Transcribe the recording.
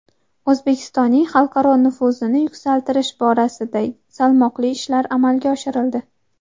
O‘zbekistonning xalqaro nufuzini yuksaltirish borasida salmoqli ishlar amalga oshirildi.